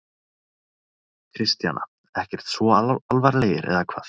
Kristjana: Ekkert svo alvarlegir, eða hvað?